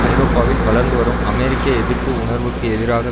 ஐரோப்பாவில் வளர்ந்துவரும் அமெரிக்க எதிர்ப்பு உணர்வுக்கு எதிராக